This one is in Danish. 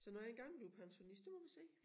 Så når jeg engang bliver pensionist der må vi se